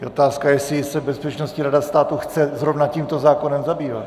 Je otázka, jestli se Bezpečnostní rada státu chce zrovna tímto zákonem zabývat.